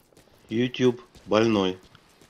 ютуб больной